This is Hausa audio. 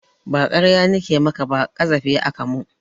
Ba ƙarya nike maka ba ƙazafi aka mun